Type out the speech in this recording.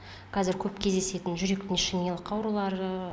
қазір көп кездесетін жүректің ишемиялық аурулары